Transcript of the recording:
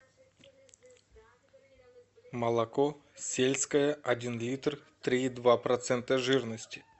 молоко сельское один литр три и два процента жирности